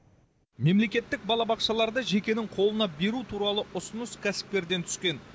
мемлекеттік балабақшаларды жекенің қолына беру туралы ұсыныс кәсіпкерден түскен